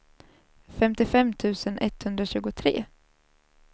femtiofem tusen etthundratjugotre